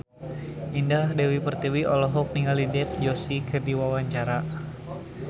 Indah Dewi Pertiwi olohok ningali Dev Joshi keur diwawancara